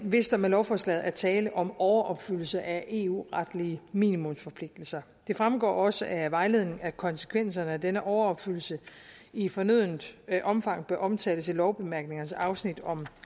hvis der med lovforslaget er tale om overopfyldelse af eu retlige minimumsforpligtelser det fremgår også af vejledningen at konsekvenserne af denne overopfyldelse i fornødent omfang bør omtales i lovbemærkningernes afsnit om